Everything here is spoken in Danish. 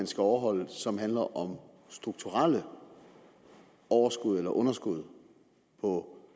skal overholdes som handler om strukturelle overskud eller underskud på